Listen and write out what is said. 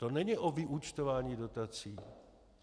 To není o vyúčtování dotací.